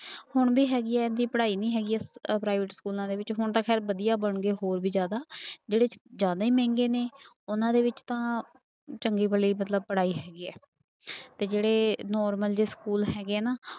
ਹੁਣ ਵੀ ਹੈਗੀ ਹੈ ਇੰਨੀ ਪੜ੍ਹਾਈ ਨੀ ਹੈਗੀ ਅਹ private ਸਕੂਲਾਂ ਦੇ ਵਿੱਚ ਹੁਣ ਤਾਂ ਖੈਰ ਵਧੀਆ ਬਣ ਗਏ ਹੋਰ ਵੀ ਜ਼ਿਆਦਾ ਜਿਹੜੇ ਜ਼ਿਆਦਾ ਹੀ ਮਹਿੰਗੇ ਨੇ ਉਹਨਾਂ ਦੇ ਵਿੱਚ ਤਾਂ ਚੰਗੀ ਭਲੀ ਮਤਲਬ ਪੜ੍ਹਾਈ ਹੈਗੀ ਹੈ ਤੇ ਜਿਹੜੇ normal ਜਿਹੇ ਸਕੂਲ ਹੈਗੇ ਨਾ